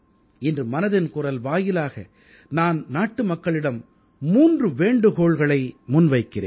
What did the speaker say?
இன்று மனதின் குரல் வாயிலாக நான் நாட்டு மக்களிடம் 3 வேண்டுகோள்களை முன்வைக்கிறேன்